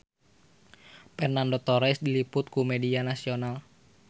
Fernando Torres diliput ku media nasional